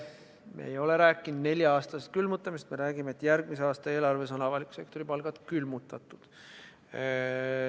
Me ei ole rääkinud nelja-aastasest külmutamisest, me räägime, et järgmise aasta eelarves on avaliku sektori palgad külmutatud.